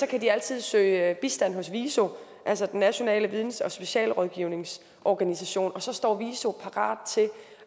kan de altid søge bistand hos viso altså den nationale videns og specialrådgivningsorganisation og så står viso parat til